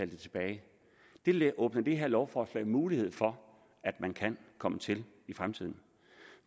det tilbage det åbner det her lovforslag mulighed for at man kan komme til i fremtiden